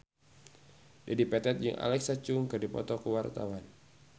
Dedi Petet jeung Alexa Chung keur dipoto ku wartawan